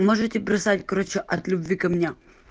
можете бросать короче от любви ко мне